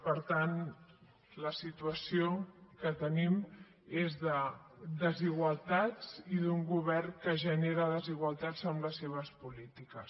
per tant la situació que tenim és de desigualtats i d’un govern que genera desigualtats amb les seves polítiques